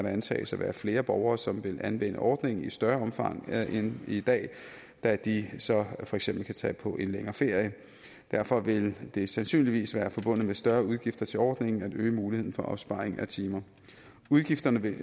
antages at være flere borgere som vil anvende ordningen i større omfang end i dag da de så for eksempel kan tage på en længere ferie derfor vil det sandsynligvis være forbundet med større udgifter til ordningen at øge muligheden for opsparing af timer udgifterne vil